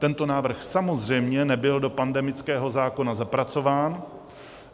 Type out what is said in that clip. Tento návrh samozřejmě nebyl do pandemického zákona zapracován.